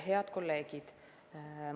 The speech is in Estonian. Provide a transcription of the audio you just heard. Head kolleegid!